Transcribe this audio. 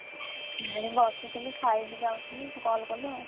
ଏଠି ବସଥିଲି ଖାଇବି ଯାଉଥିଲି ତୁ call କଲୁ ଆଉ।